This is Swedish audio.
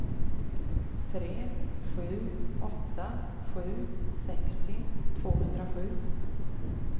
tre sju åtta sju sextio tvåhundrasju